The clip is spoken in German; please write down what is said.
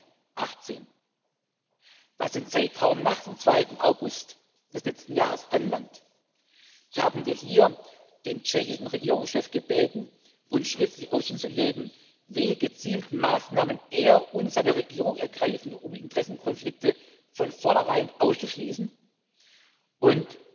2018. Was den Zeitraum nach dem 2. August des letzten Jahres anbelangt, haben wir hier den tschechischen Regierungschef gebeten, uns schriftlich Auskunft zu geben, welche gezielten Maßnahmen er und seine Regierung ergreifen, um Interessenkonflikte von vornherein auszuschließen